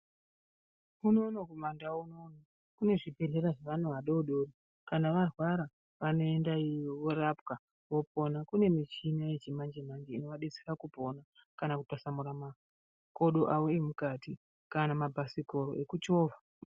Unono kumandau unono kune zvibhedhlera zvevana vadodori kana varwara vanoenda iyoyo vorapwa vopona kune michina yechimanje manje inovadetsera kupona kana Kutwasanura makodo awo emukati kana mabhasikoro ekuchovha.